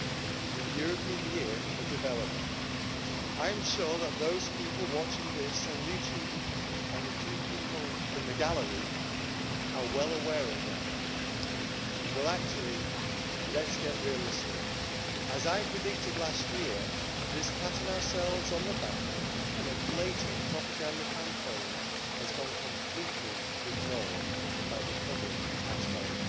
Mr President, this year, 2015, has been the European Year of Development. I am sure that those people watching this on YouTube, and the three people in the gallery, are well aware of that. Well, actually, let's get realistic. As I predicted last year, this patting ourselves on the back, and a blatant propaganda campaign, has gone completely ignored by the public at home.